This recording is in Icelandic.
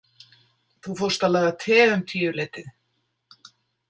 Þú fórst að laga te um tíuleytið.